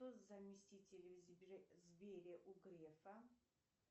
кто заместитель в сбере у грефа